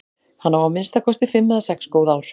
Hann á að minnsta kosti fimm eða sex góð ár.